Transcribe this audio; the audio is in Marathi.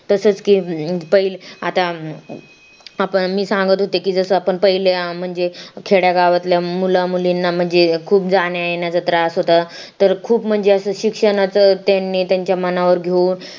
तसंच की अं आता मी आता सांगत होते की आपण पहिल्या अं म्हणजे खेड्या गावातल्या मुला मुलींना म्हणजे खूप जाण्या येण्याचं त्रास होत तर खूप म्हणजे शिक्षणाचं असं त्यांनी त्यांच्या मनावर घेऊन